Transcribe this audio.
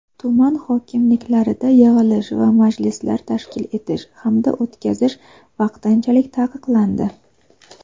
tuman hokimliklarida yig‘ilish va majlislar tashkil etish hamda o‘tkazish vaqtinchalik taqiqlandi.